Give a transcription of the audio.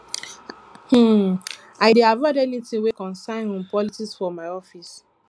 um um i dey avoid anytin wey concern um politics for my office